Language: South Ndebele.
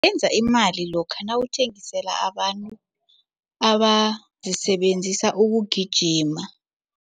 Benza imali lokha nawuthengisela abantu abazisebenzisa ukugijima.